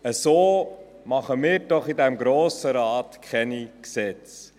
So machen wir doch im Grossen Rat keine Gesetze.